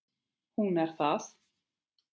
Hún er það.